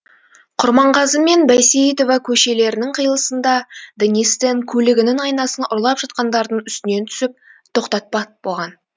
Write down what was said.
құрманғазы мен бәйсейітова көшелерінің қиылысында денис тен көлігінің айнасын ұрлап жатқандардың үстінен түсіп тоқтатпақ болған